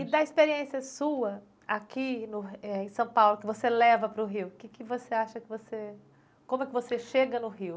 E da experiência sua aqui no eh, em São Paulo, que você leva para o Rio, que que você acha que você, como é que você chega no Rio?